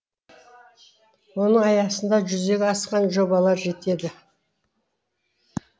оның аясында жүзеге асқан жобалар жетеді